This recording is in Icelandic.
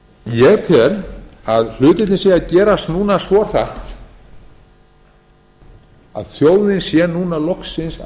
ég tel að hlutirnir séu að gerast núna svo hratt að þjóðin sé núna loksins að